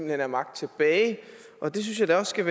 have magt tilbage og det synes jeg da også skal